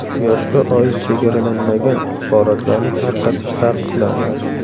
Yoshga oid chegaralanmagan axborotlarni tarqatish taqiqlandi.